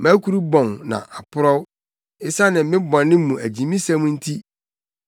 Mʼakuru bɔn na aporɔw esiane me bɔne mu agyimisɛm nti.